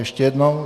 Ještě jednou.